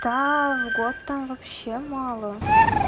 та в год там вообще мало